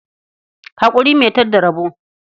Haƙuri mai tad da rabo.